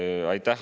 Aitäh!